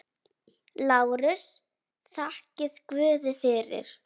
LÁRUS: Þakkið guði fyrir.